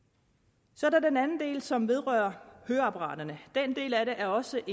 så er der den anden del som vedrører høreapparater den del af det er også